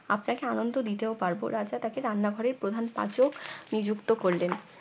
আপনাকে আনন্দ দিতেও পারব রাজা তাকে রান্না ঘরের প্রধান পাচক নিযুক্ত করলেন